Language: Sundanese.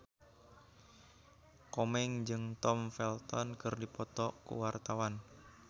Komeng jeung Tom Felton keur dipoto ku wartawan